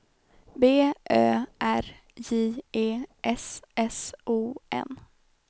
B Ö R J E S S O N